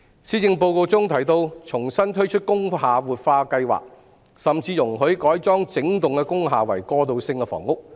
施政報告中提到會重新推出工廈活化計劃，甚至容許改裝整幢工廈為過渡性房屋。